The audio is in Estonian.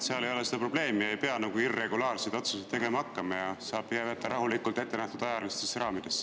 Siis ei oleks seda probleemi, ei peaks irregulaarseid otsuseid tegema hakkama ja saaks rahulikult jääda ettenähtud ajalistesse raamidesse.